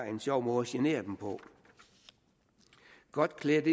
en sjov måde at genere det på godt iklædt